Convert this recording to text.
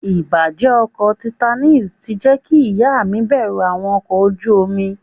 Ìbàjẹ́ ọkọ̀ Titanic ti jẹ́ kí ìyá mi bẹ̀rù àwọn ọkọ̀ ojú omi.